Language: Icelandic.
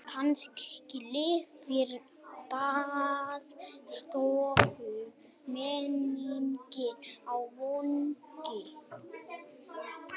Kannski lifir baðstofumenningin á Vogi.